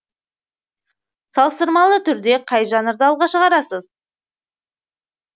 салыстырмалы түрде қай жанрды алға шығарасыз